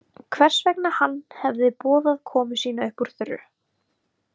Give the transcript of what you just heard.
Hvers vegna hann hefði boðað komu sína upp úr þurru.